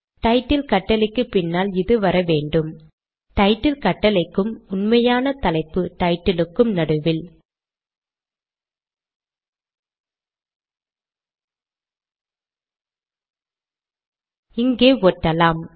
title கட்டளைக்கு பின்னால் இது வர வேண்டும் டைட்டில் கட்டளை க்கும் உண்மையான தலைப்பு டைட்டில் க்கும் நடுவில் இங்கே ஒட்டலாம்